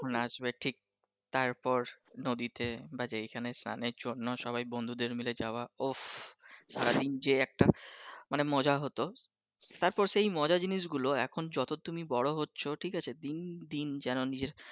কখন আসবে ঠিক, তারপর নদীতে বা যেইখানে স্লানের জন্য সবাই বন্ধুরদের মিলে যাওয়া উপপ সারাদিন যে একটা মজা হতো তারপর সে মজা জিনিস গুলো এখন তুমি যত বড় হচ্ছো ঠিক আছে দিন দিন যেন নিজের